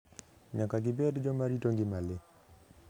Nyaka gibed joma rito ngima le.